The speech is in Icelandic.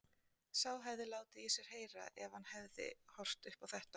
Sá hefði látið í sér heyra ef hann hefði horft upp á þetta!